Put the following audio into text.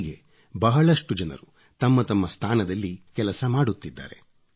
ಹೀಗೆ ಬಹಳಷ್ಟು ಜನರು ತಮ್ಮ ತಮ್ಮ ಸ್ಥಾನದಲ್ಲಿ ಕೆಲಸ ಮಾಡುತ್ತಿದ್ದಾರೆ